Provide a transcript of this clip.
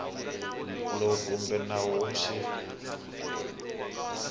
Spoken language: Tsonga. lowu kumbe nawu wa xifundzankulu